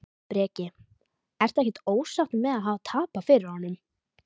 Breki: Ertu ekkert ósáttur með að hafa tapað fyrir honum?